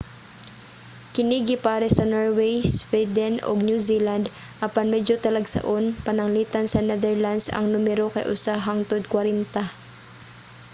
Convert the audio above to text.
kini gipares sa norway sweden ug new zealand apan medyo talagsaon pananglitan sa netherlands ang numero kay usa hangtod kwarenta